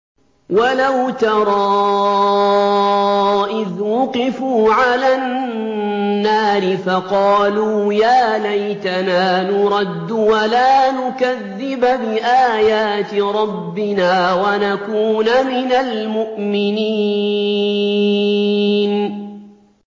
وَلَوْ تَرَىٰ إِذْ وُقِفُوا عَلَى النَّارِ فَقَالُوا يَا لَيْتَنَا نُرَدُّ وَلَا نُكَذِّبَ بِآيَاتِ رَبِّنَا وَنَكُونَ مِنَ الْمُؤْمِنِينَ